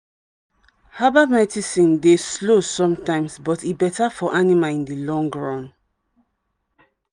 herbal medicine dey slow sometimes but e better for animal in the long run.